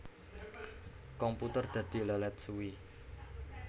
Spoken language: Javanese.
Komputer dadi lèlèt suwi